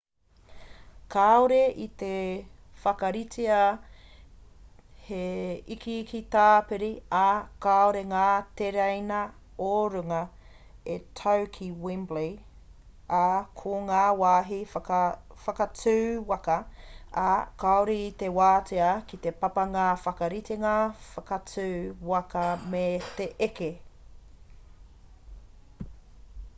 kāore i te whakaritea he ikiiki tāpiri ā kāore ngā tereina o-runga e tau ki wembley ā ko ngā wāhi whakatū waka ā kāore i te wātea ki te papa ngā whakaritenga whakatū waka me te eke